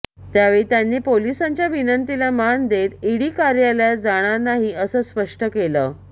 त्यावेळी त्यांनी पोलिसांच्या विनंतीला मान देत ईडी कार्यालयात जाणार नाही असं स्पष्ट केले